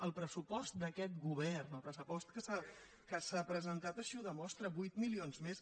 el pressuposts d’aquest govern el pressupost que s’ha presentat així ho demostra vuit milions més